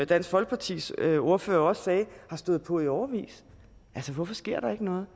dansk folkepartis ordfører også sagde har stået på i årevis altså hvorfor sker der ikke noget